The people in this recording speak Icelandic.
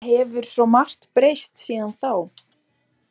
Það hefur svo margt breyst síðan þá.